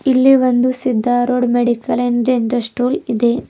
ಇಲ್ಲಿ ಒಂದು Siddharood medical and general store ಇದೆ.